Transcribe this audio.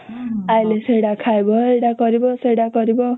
ଆଇଲେ ସେଟା ଖାଇବ ଏଟା କରିବ ସେଟା କରିବ